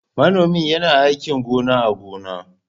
Manomi yana aikin gona a gona.